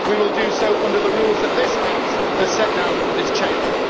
We will do so under the rules that this House has set down for this Chamber.